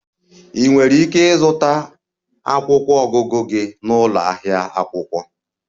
Ị nwere ike ịzụta akwụkwọ ọgụgụ gị na ụlọ ahịa akwụkwọ.